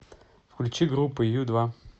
включи группу ю два